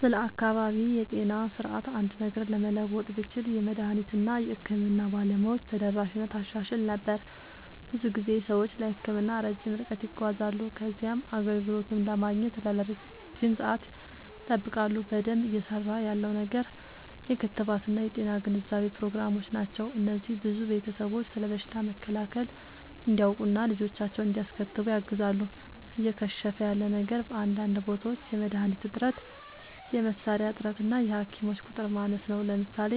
ስለ አካባቢያዊ የጤና ስርዓት አንድ ነገር ለመለወጥ ብችል፣ የመድኃኒት እና የሕክምና ባለሙያዎች ተደራሽነትን አሻሽል ነበር። ብዙ ጊዜ ሰዎች ለሕክምና ረጅም ርቀት ይጓዛሉ ከዚያም አገልግሎቱን ለማግኘት ለረጅም ሰዓት ይጠብቃሉ። በደንብ እየሠራ ያለው ነገር የክትባት እና የጤና ግንዛቤ ፕሮግራሞች ናቸው። እነዚህ ብዙ ቤተሰቦች ስለ በሽታ መከላከል እንዲያውቁ እና ልጆቻቸውን እንዲያስከትቡ ያግዛሉ። እየከሸፈ ያለ ነገር በአንዳንድ ቦታዎች የመድኃኒት እጥረት፣ የመሣሪያ እጥረት እና የሐኪሞች ቁጥር ማነስ ነው። ለምሳሌ፣